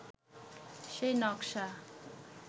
সেই নকশা